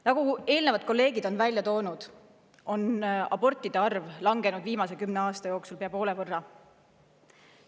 Nagu eelnevalt kolleegid on välja toonud, on abortide arv viimase kümne aasta jooksul langenud pea poole võrra.